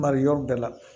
Mari yɔrɔ bɛɛ la